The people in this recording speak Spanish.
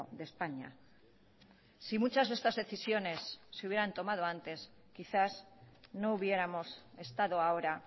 de españa si muchas de estas decisiones se hubieran tomado antes quizás no hubiéramos estado ahora